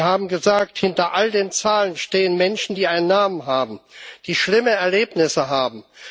Sie haben gesagt, hinter all den Zahlen stehen Menschen, die einen Namen haben, die schlimme Erlebnisse haben.